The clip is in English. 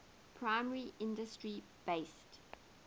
primary industry based